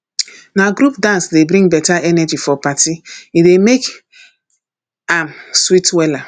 na group dance dey bring beta energy for party e dey make am sweet wella